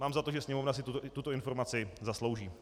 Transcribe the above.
Mám za to, že Sněmovna si tuto informaci zaslouží.